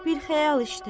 Bir xəyal işdə.